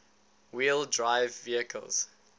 wheel drive vehicles